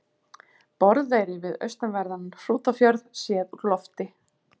Borðeyri við austanverðan Hrútafjörð séð úr lofti.